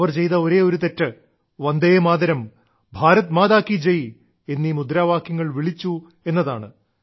അവർ ചെയ്ത ഒരേയൊരു തെറ്റ് വന്ദേമാതരം ഭാരത് മാതാ കീ ജയ് എന്നീ മുദ്രാവാക്യങ്ങൾ വിളിച്ചു എന്നതാണ്